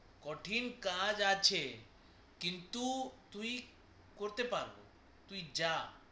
কঠিন কাজ আছে কিন্তু তুই করতে পারবি তুই যা